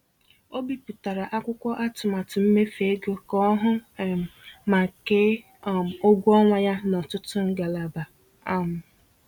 Ọ bipụtara akwụkwọ atụmatụ mmefu ego ka ọ hụ um ma kee um ụgwọ ọnwa ya n’ọtụtụ ngalaba. um